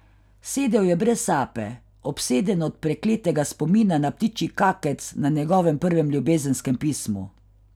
Sedel je brez sape, obseden od prekletega spomina na ptičji kakec na njegovem prvem ljubezenskem pismu.